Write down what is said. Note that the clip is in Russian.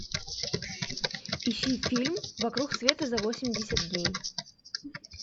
ищи фильм вокруг света за восемьдесят дней